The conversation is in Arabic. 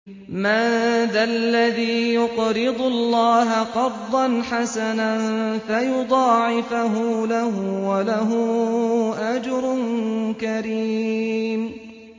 مَّن ذَا الَّذِي يُقْرِضُ اللَّهَ قَرْضًا حَسَنًا فَيُضَاعِفَهُ لَهُ وَلَهُ أَجْرٌ كَرِيمٌ